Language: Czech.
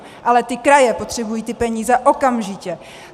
Ale ty kraje potřebují ty peníze okamžitě.